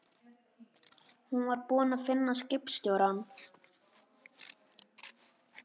Hún var búin að finna skipstjórann.